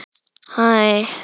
Hvort liðið er að eyða meira?